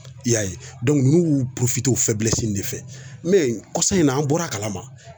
I y'a ye n'u y'u de fɛ kɔsa in na an bɔra a kalama